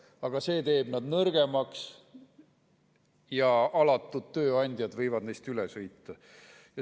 Aga see teeb nad nõrgemaks ja alatud tööandjad võivad neist üle sõita.